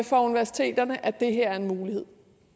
for universiteterne at det her er en mulighed